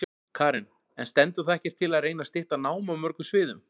Karen: En stendur þá ekkert til að reyna stytta nám á mörgum sviðum?